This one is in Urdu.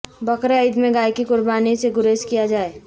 بقرعید میں گائے کی قربانی سے گریز کیا جائے